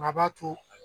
Maa b'a to